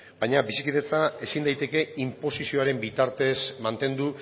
baina bizikidetza ezin daiteke inposizioaren bitartez mantendu